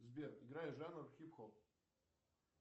сбер играй жанр хип хоп